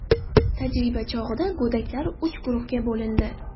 Tajriba chog‘ida go‘daklar uch guruhga bo‘lindi.